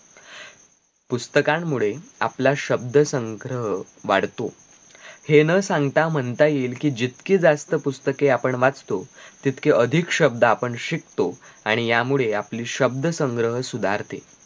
पुस्तकांमुळे आपला शब्द संग्रह वाढतो हे न सांगता म्हणता येईल कि जितके जास्त आपण पुस्तके वाचतो तितके अधिक शब्द आपण शिकतो आणि यामुळे आपली शब्द संग्रह सुधारते